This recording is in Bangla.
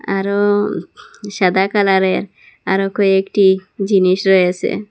আরও সাদা কালারের আরও কয়েকটি জিনিষ রয়েসে।